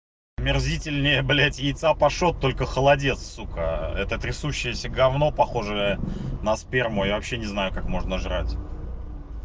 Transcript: омерзительнее блять яйца-пашот только холодец сука это трясущаяся гавно похожее на сперму я вообще не знаю как можно жрать